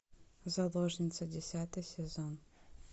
заложница десятый сезон